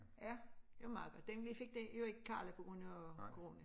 Ja det meget godt den vi fik den jo ikke Karla på grund af coronaen